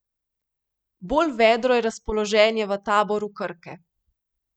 Bolj vedro je razpoloženje v taboru Krke.